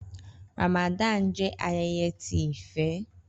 Ramadan jẹ ayẹyẹ ti ifẹ.